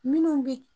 Minnu bɛ